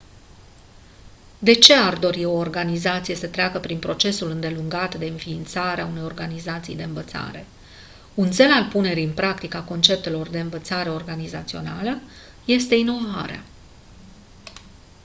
de ce ar dori o organizație să treacă prin procesul îndelungat de înființare a unei organizații de învățare un țel al punerii în practică a conceptelor de învățare organizațională este inovarea